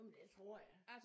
Jamen det tror jeg